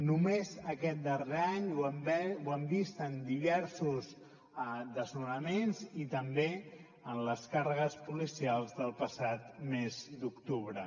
només aquest darrer any ho hem vist en diversos desnonaments i també en les càrregues policials del passat mes d’octubre